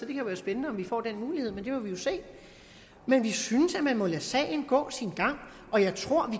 blive spændende om vi får den mulighed men det må vi jo se men vi synes at man må lade sagen gå sin gang og jeg tror vi